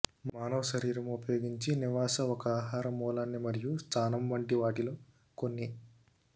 మానవ శరీరం ఉపయోగించి నివాస ఒక ఆహార మూలాన్ని మరియు స్థానం వంటి వాటిలో కొన్ని